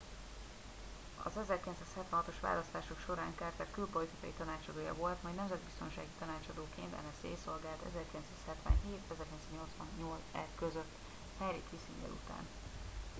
az 1976-os választások során carter külpolitikai tanácsadója volt majd nemzetbiztonsági tanácsadóként nsa szolgált 1977-1981 között henry kissinger után